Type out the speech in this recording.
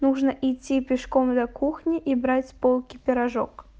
нужно идти пешком до кухни и брать с полки пирожок